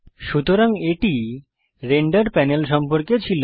সুতরাং এটি render panel সম্পর্কে ছিল